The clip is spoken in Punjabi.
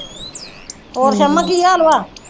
ਹੋਰ ਪੰਮੋ ਕੀ ਹਾਲ ਵਾ।